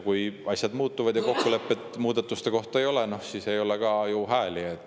Kui aga asjad muutuvad ja kokkulepet muudatuste kohta ei ole, siis ei ole ka hääli.